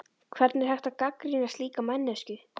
Hvernig er hægt að gagnrýna slíka manneskju?